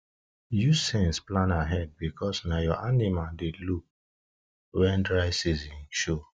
use sense plan ahead because na you your animals dey look wen dry season season show